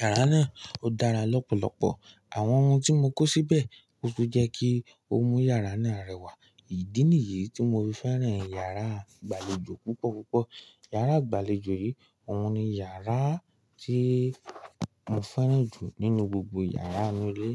yàrá náà ó dára lọ́pọ̀lọpọ̀. Àwọn ohun tí mo kó síbẹ̀ o tun jẹ́ kí o mu yàrá náà rẹwà. Ìdí nìyí tí mo fi fẹ́ràn yàrá ìgbàlejò púpọ̀ púpọ̀. Yàrá ìgbàlejò yìí, òun ni yàrá tí mo fẹ́ràn jù nínú gbogbo yàrá inú ilé.